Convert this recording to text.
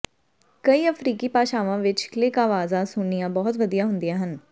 ਕਈ ਅਫ਼ਰੀਕੀ ਭਾਸ਼ਾਵਾਂ ਵਿੱਚ ਕਲਿਕ ਆਵਾਜ਼ਾਂ ਸੁਣਨੀਆਂ ਬਹੁਤ ਵਧੀਆ ਹੁੰਦੀਆਂ ਹਨ